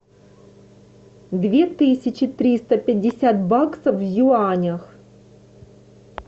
две тысячи триста пятьдесят баксов в юанях